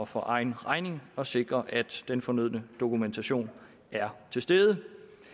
for egen regning at sikre at den fornødne dokumentation er til stede